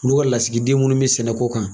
U n'u ka lasigi den minnu mi sɛnɛko kan.